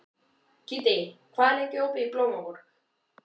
Kiddi, hvað er lengi opið í Blómaborg?